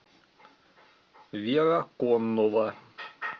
вера коннова